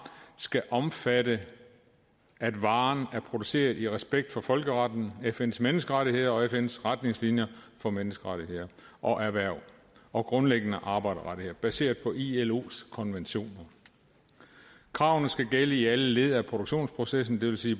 skal omfatte at varen er produceret i respekt for folkeretten fns menneskerettigheder og fns retningslinjer for menneskerettigheder og erhverv og grundlæggende arbejderrettigheder baseret på ilos konventioner kravene skal gælde i alle led af produktionsprocessen det vil sige